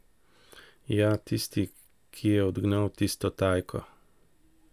Ja, tisti, ki je odgnal tisto Tajko.